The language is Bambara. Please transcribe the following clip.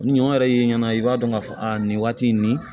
Ni ɲɔ yɛrɛ y'i ɲɛna i b'a dɔn k'a fɔ a nin waati in nin